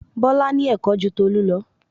Bọlá ní Ẹ̀kọ́ ju Tolu lọ